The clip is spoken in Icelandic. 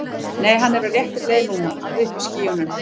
Nei, hann er á réttri leið núna. alveg uppi í skýjunum.